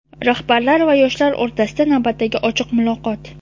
Rahbarlar va yoshlar o‘rtasida navbatdagi ochiq muloqot.